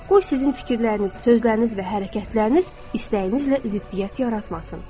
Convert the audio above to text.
Qoy sizin fikirləriniz, sözləriniz və hərəkətləriniz istəyinizlə ziddiyyət yaratmasın.